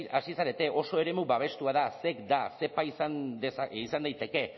hasi zarete oso eremu babestua da zec da zepa izan daiteke